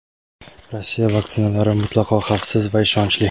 Rossiya vaksinalari mutlaqo xavfsiz va ishonchli.